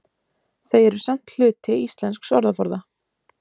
Þau eru samt hluti íslensks orðaforða.